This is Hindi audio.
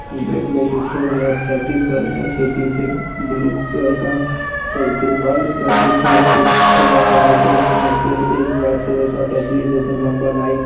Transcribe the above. बैट लेकर खेल रहे प्रैक्टिस कर रहे हैं। उसके पीछे ब्लू कलर का तिरपाल जैसा कुछ है। थोड़ा सा आगे उसमें एक व्हाइट कलर लम्बा लाइन है।